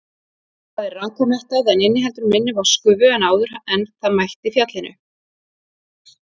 Það er rakamettað, en inniheldur minni vatnsgufu en áður en það mætti fjallinu.